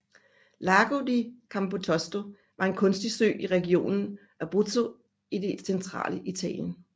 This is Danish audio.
Lago di Campotosto er en kunstig sø i regionen Abruzzo i det centrale Italien